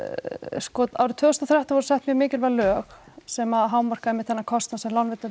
sko árið tvö þúsund og þrettán voru sett mjög mikilvæg lög sem hámarka einmitt þennan kostnað sem lánveitendur